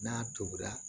N'a tobira